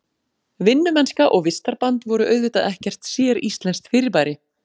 Vinnumennska og vistarband voru auðvitað ekkert séríslenskt fyrirbæri.